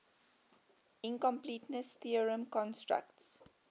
incompleteness theorem constructs